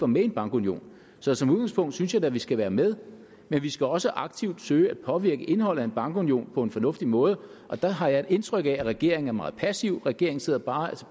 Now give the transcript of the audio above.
med i en bankunion så som udgangspunkt synes jeg da at vi skal være med men vi skal også aktivt søge at påvirke indholdet i en bankunion på en fornuftig måde og der har jeg et indtryk af at regeringen er meget passiv regeringen sidder bare